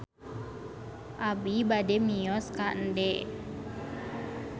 Abi bade mios ka Ende